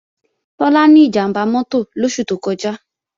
Tọ́lá ní ìjàmbá mọ́tò lóṣù tó kọjá